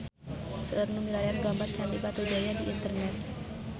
Seueur nu milarian gambar Candi Batujaya di internet